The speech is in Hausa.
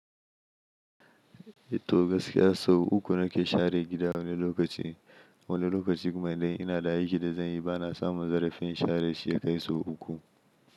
Ehh to gaskiya sau uku nake share gida wani lokaci. Wani lokaci kuma idan ina da aiki da zan yi ba na samun zarafin share shi ya kai sau uku.